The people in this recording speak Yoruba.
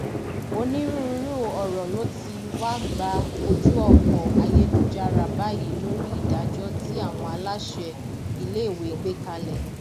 onírúurú ọrọ ló ti wá gba ojú ọpọ ayélujára báyìí lórí ìdájọ tí àwọn aláṣẹ iléèwé gbé kalẹ